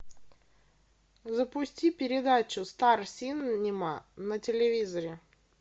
запусти передачу стар синема на телевизоре